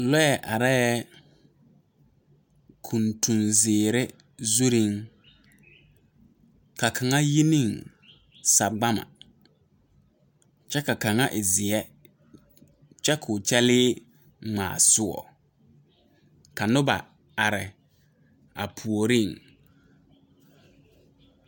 Lɔɛ areɛɛ kuntunzeere zuŋ ka kaŋa yi neŋ sagbama kyɛ ka kaŋa e zeɛ kyɛ koo kyɛlee ngmaa soɔɔ ka noba are a puoriŋ.